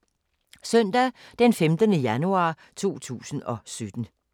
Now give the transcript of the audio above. Søndag d. 15. januar 2017